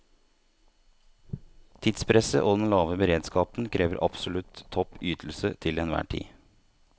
Tidspresset og den lave beredskapen krever absolutt topp ytelse til enhver tid.